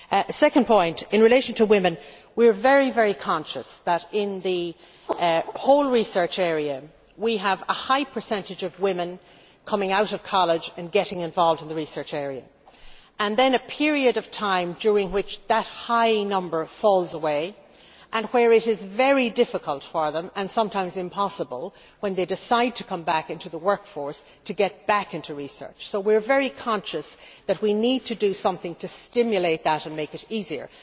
My second point is that, in relation to women, we are very conscious that in the whole research area we have a high percentage of women coming out of college and getting involved in the research area, and then a period of time during which that high number falls away and in which it is very difficult them for them and sometimes impossible when they decide to come back into the workforce to get back into research. So we are very conscious that we need to do something to stimulate that and make it easier.